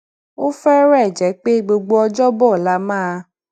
ó férèé jé pé gbogbo ọjóbọ la máa